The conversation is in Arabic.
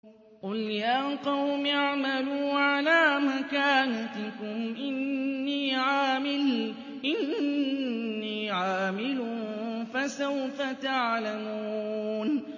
قُلْ يَا قَوْمِ اعْمَلُوا عَلَىٰ مَكَانَتِكُمْ إِنِّي عَامِلٌ ۖ فَسَوْفَ تَعْلَمُونَ